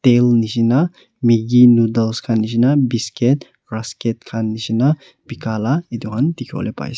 tail nisna maggie noddles khan nisna biscuit ruskit khan nisna bika lah etu khan m dikhi bole pai ase.